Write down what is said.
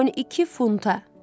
12 funta!